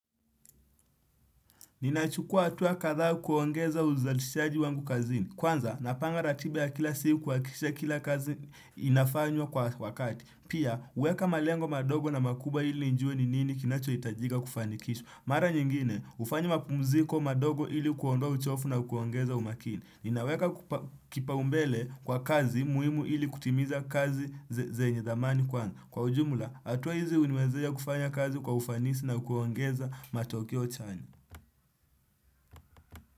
Ninachukua hatua kadhaa kuongeza uzalishaji wangu kazini. Kwanza, napanga ratiba ya kila siku kuhakikishe kila kazi inafanywa kwa wakati. Pia, uweka malengo madogo na makubwa ili nijue ni nini kinachohitajiga kufanikisha. Mara nyingine, hufanyi makumziko madogo ili kuodoa uchovu na kuongeza umakini. Ninaweka kipaumbele kwa kazi muhimu ili kutimiza kazi zenye dhamani kwanza. Kwa ujumla, hatua hizi uniwezesha kufanya kazi kwa ufanisi na kuongeza matokeo chani.